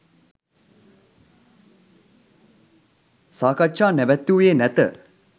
සාකච්ජා නැවැත්වූයේ නැත